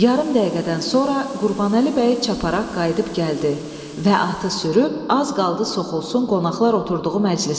Yarım dəqiqədən sonra Qurbanəli bəy çaparaq qayıdıb gəldi və atı sürüb az qaldı soxulsun qonaqlar oturduğu məclisə.